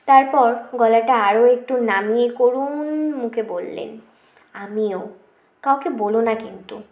তারপর গলাটা আরও একটু নামিয়ে করুন মুখে বললেন আমিও কাউকে বোলো না কিন্তু